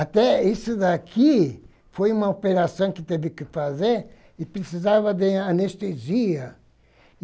Até isso daqui foi uma operação que teve que fazer e precisava de anestesia.